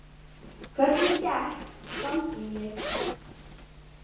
Hvernig gekk sambýlið?